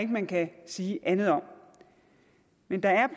man kan sige andet om men der